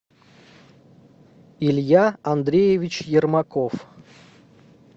илья андреевич ермаков